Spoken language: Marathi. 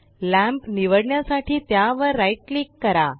लॅम्प निवडण्यासाठी त्यावर राइट क्लिक करा